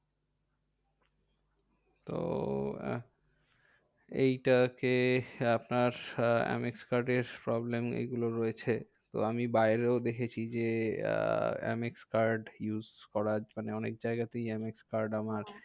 তো এইটা কে আপনার এম এক্স card এর problem এগুলো রয়েছে। তো আমি বাইরেও দেখেছি যে, এম এক্স card use করা মানে অনেক জায়গাতেই এম এক্স card আমার